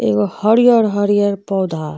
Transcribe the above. एगो हरियर-हरियर पौधा --